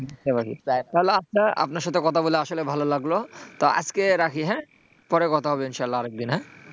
তাহলে আপনার সঙ্গে কথা বলে আসলে ভালো লাগলো, তো আজকে রাখি পরে কথা হবে ইনশাল্লাহ আরেক দিন,